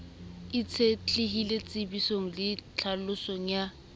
itshetlehile tshebedisong le tlhalosong ya